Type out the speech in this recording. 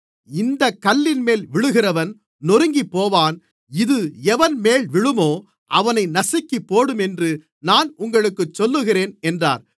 இந்தக் கல்லின்மேல் விழுகிறவன் நொறுங்கிப்போவான் இது எவன்மேல் விழுமோ அவனை நசுக்கிப்போடும் என்று நான் உங்களுக்குச் சொல்லுகிறேன் என்றார்